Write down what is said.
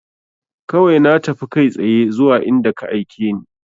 Kawai na tafi kai tsaye zuwa inda ka aike ni